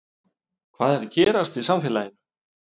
Hvað er að gerast í samfélaginu?